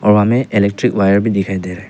हवा में electric wire भी दिखाई दे रहा है।